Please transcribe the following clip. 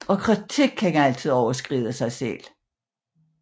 Og kritik kan altid overskride sig selv